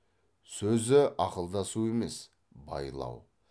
сөзі ақылдасу емес байлау